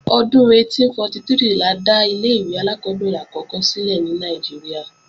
Ọdún 1843 la dá ilé-ìwé alákọ́bẹ̀rẹ̀ àkọ́kọ́ sílẹ̀ ní Nàìjíríà